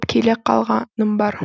келе қалғаным бар